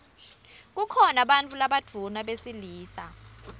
kukhona bantfu labadvuna besilisa